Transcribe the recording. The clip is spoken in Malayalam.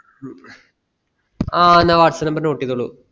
ഹ്മ് ആ എന്ന whatsapp number note ചെയ്തോളൂ